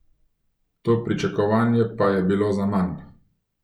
To pričakovanje pa je bilo zaman.